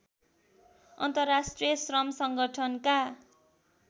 अन्तर्राष्ट्रिय श्रम सङ्गठनका